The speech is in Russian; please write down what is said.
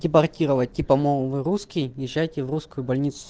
депортировать типа мол русский езжайте в русскую больницу